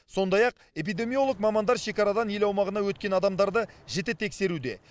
сондай ақ эпидемиолог мамандар шекарадан ел аумағына өткен адамдарды жіті тексеруде